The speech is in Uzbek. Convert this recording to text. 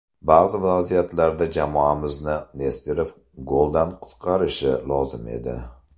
Ba’zi vaziyatlarda jamoamizni Nesterov goldan qutqarishi lozim edi.